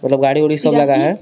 मतलब गाड़ी वाड़ि सब लगा है.